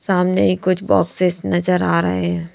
सामने ही कुछ बॉक्सेस नजर आ रहे हैं।